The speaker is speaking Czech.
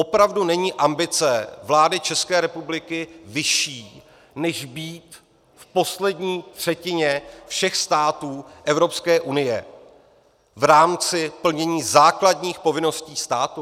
Opravdu není ambice vlády České republiky vyšší, než být v poslední třetině všech států Evropské unie v rámci plnění základních povinností státu?